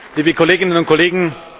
liebe Kolleginnen und Kollegen!